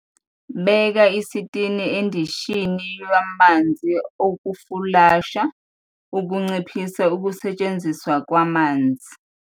Beka isitini endishini yamanzi okufulasha ukunciphisa ukusetshenziswa kwamanzi.